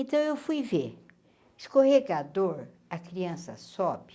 Então eu fui ver, escorregador, a criança sobe,